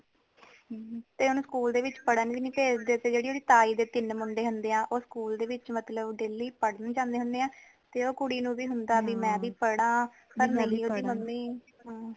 ਤੇ ਓਨੁ school ਦੇ ਵਿਚ ਪੜ੍ਹਨ ਵੀ ਨੀ ਭੇਜਦੇ ਤੇ ਓਦੀ ਤਾਈ ਦੇ ਜੇੜੇ ਤੀਨ ਮੁੰਡੇ ਹੁੰਦੇ ਆ ਓ school ਦੇ ਵਿਚ ਮਤਲਬ daily ਪੜ੍ਹਨ ਜਾਂਦੇ ਹੁੰਦੇ ਐ ਤੇ ਓ ਕੁੜੀ ਨੂ ਵੀ ਹੁੰਦਾ ਕਿ ਭੀ ਮੈ ਵੀ ਪੜ੍ਹਾ ਪਰ ਨਹੀਂ ਓਦੀ mummy